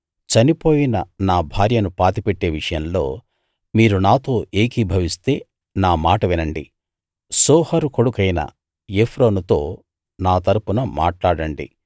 చనిపోయిన నా భార్యను పాతిపెట్టే విషయంలో మీరు నాతో ఏకీభవిస్తే నా మాట వినండి సోహరు కొడుకైన ఎఫ్రోనుతో నా తరపున మాట్లాడండి